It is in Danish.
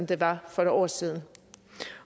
det var for et år siden